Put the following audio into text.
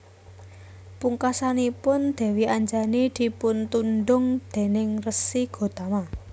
Pungkasanipun Dèwi Anjani dipuntundhung déning Resi Gotama